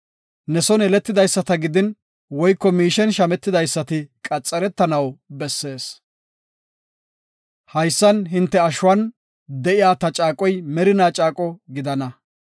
Ne son yeletidaysata gidin woyko miishen shametidaysati qaxaretanaw bessees. Haysan hinte ashuwan de7iya ta caaqoy merina caaqo gidana.